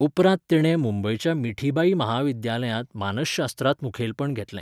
उपरांत तिणें मुंबयच्या मिठीबाई महाविद्यालयांत मानसशास्त्रांत मुखेलपण घेतलें.